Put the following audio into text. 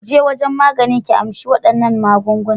Ki je wajen magani, ki amshi waɗannan maganganun.